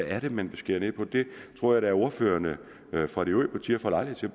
er det man vil skære ned på det tror jeg da at ordførerne for de øvrige partier får lejlighed til